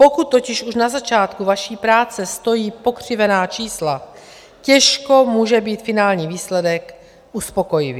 Pokud totiž už na začátku vaší práce stojí pokřivená čísla, těžko může být finální výsledek uspokojivý.